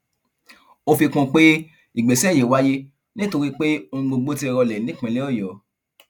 ó fi kún un pé ìgbésẹ yìí wáyé nítorí pé ohun gbogbo ti rọlẹ nípìnlẹ ọyọ